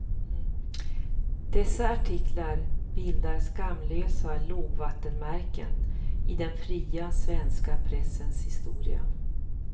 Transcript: Dessa artiklar bildar skamlösa lågvattenmärken i den fria svenska pressens historia.